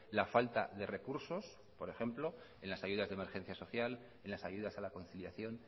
la falta de recursos por ejemplo en las ayudas de emergencia social en las ayudas a la conciliación